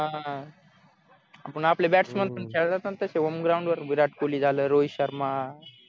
पण आपले bats man त्यांना पण तसे home ground वर विराट कोहली झालं रोहित शर्मा